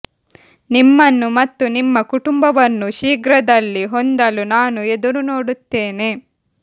ನಿಮ್ಮನ್ನು ಮತ್ತು ನಿಮ್ಮ ಕುಟುಂಬವನ್ನು ಶೀಘ್ರದಲ್ಲಿ ಹೊಂದಲು ನಾನು ಎದುರು ನೋಡುತ್ತೇನೆ